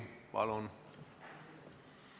Palun!